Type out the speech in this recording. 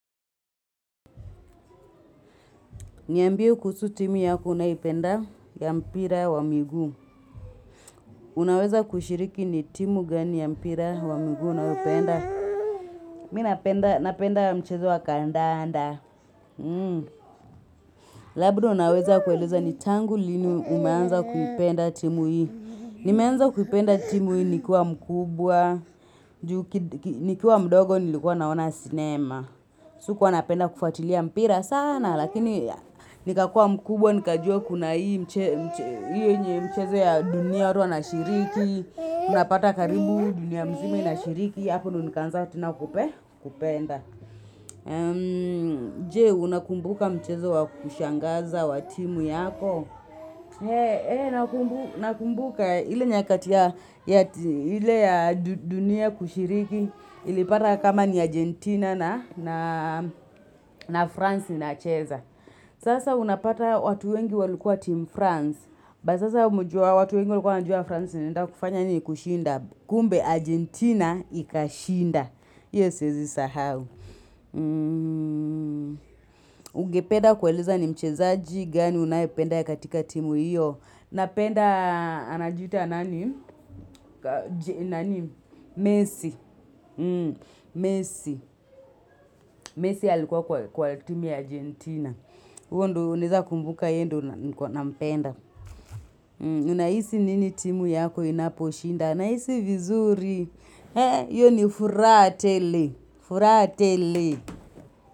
Niambie kuhusu timu yako unayoipenda ya mpira wa miguu. Unaweza kushiriki ni timu gani ya mpira wa miguu unayoipenda. Mimi napenda mchezo wa kandanda. Labda unaweza kueleza ni tangu lini umeanza kuipenda timu hii. Nimeanza kuipenda timu hii nikiwa mkubwa. Nikiwa mdogo nilikuwa naona cinema. Sikua napenda kufuatilia mpira sana. Lakini nikakua mkubwa nikajua kuna hii mchezo ya dunia watu wanashiriki unapata karibu dunia mzima inashiriki hapo ndo nikaanza tena kupenda je unakumbuka mchezo wa kushangaza wa timu yako hee nakumbuka ile nyakati ya ile ya dunia kushiriki ilipata kama ni Argentina na France inacheza Sasa unapata watu wengi walikua timu France, but sasa umejua watu wengi walikua wanajua France inaenda kufanya nini kushinda, kumbe Argentina ikashinda, hio siezi sahau. Ungependa kueleza ni mchezaji gani unayependa katika timu hiyo Napenda anajiita nani? Messi Messi Messi alikuwa kwa timu ya Argentina huo ndo unaeza kumbuka yeye ndo nilikua nampenda Unahisi nini timu yako inaposhinda nahisi vizuri hio ni furaha tele.